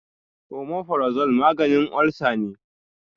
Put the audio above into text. Omeprazole maganin olsa ne.